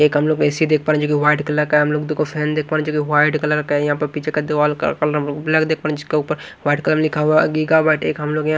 एक हम लोगों को ए सी दिख रहा है जो की व्हाइट कलर का है हम लोग दो को फैन दिख पा रहे है जो की व्हाइट कलर का है यहां पे पीछे का दीवाल का कलर व्हाइट कलर लिखा हुआ यहां--